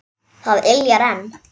Það yljar enn.